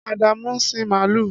Adamu ń sin màlúù.